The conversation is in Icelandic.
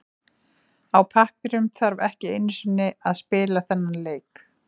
Á pappírunum þarf ekki einu sinni að spila þennan leik.